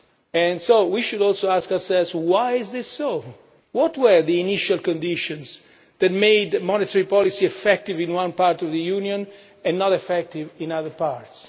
And so we should also ask ourselves why is this so? What were the initial conditions that made monetary policy effective in one part of the Union and not effective in other parts?